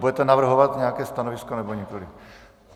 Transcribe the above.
Budete navrhovat nějaké stanovisko, nebo nikoliv?